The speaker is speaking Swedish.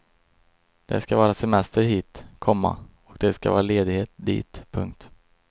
Det ska vara semester hit, komma och det ska vara ledighet dit. punkt